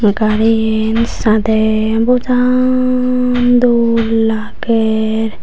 gariyan sade bojan dol lager.